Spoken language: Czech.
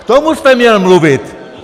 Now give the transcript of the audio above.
K tomu jste měl mluvit!